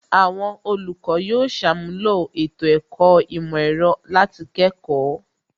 Àwọn olùkọ́ yóò ṣàmúlò ètò ẹ̀kọ́ ìmọ̀ ẹ̀rọ láti kẹ́kọ̀ọ́